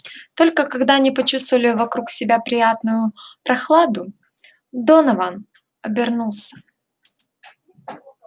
только когда они почувствовали вокруг себя приятную прохладу донован обернулся